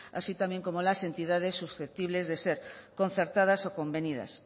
así también como las entidades susceptibles de ser concertadas o convenidas